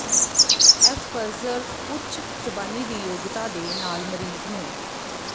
Asperger ਉੱਚ ਜ਼ਬਾਨੀ ਦੀ ਯੋਗਤਾ ਦੇ ਨਾਲ ਮਰੀਜ਼ ਨੂੰ